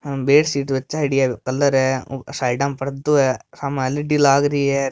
बेडशीट जचायोडी है कलर है साइडा में पर्दो है सामे एलईडी लाग रही है र।